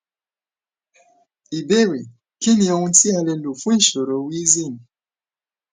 ìbéèrè kí ni ohun ti a ti a le lo fun ìṣòro wheezing